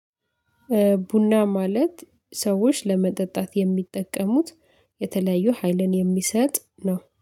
ቡና ማለት ሰዎች ለመጠጣት የሚጠቀሙት የተለያዩ ሀይልን የሚሰጥ ነው።